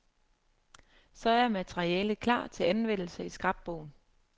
Så er materialet klar til anvendelse i scrapbogen.